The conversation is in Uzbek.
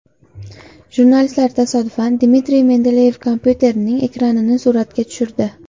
Jurnalistlar tasodifan Dmitriy Medvedev kompyuterining ekranini suratga tushirdi.